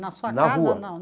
Na sua casa ou não?